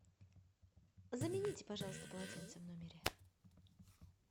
замените пожалуйста полотенце в номере